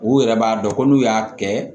U yɛrɛ b'a dɔn ko n'u y'a kɛ